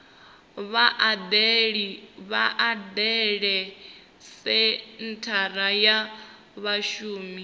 vha dalele senthara ya vhashumi